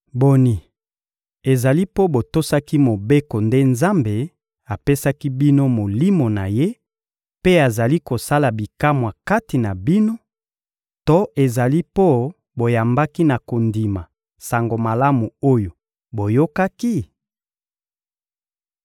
Boni, ezali mpo botosaki Mobeko nde Nzambe apesi bino Molimo na Ye mpe azali kosala bikamwa kati na bino to ezali mpo boyambaki na kondima Sango Malamu oyo boyokaki?